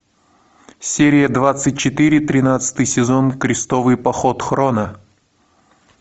серия двадцать четыре тринадцатый сезон крестовый поход хроно